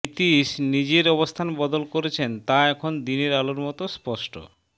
নীতীশ নিজের অবস্থান বদল করেছেন তা এখন দিনের আলোর মতো স্পষ্ট